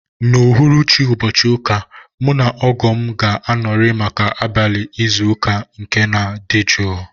N'uhuruchi ụbọchị ụka a, mụ na ogoo m ga-anọrị maka abalị izu ike na nke dị jụụ